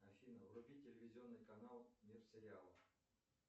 афина вруби телевизионный канал мир сериалов